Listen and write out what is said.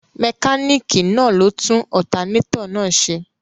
Mẹkáníìkì náà ló tún Ọtanétọ̀ náà ṣe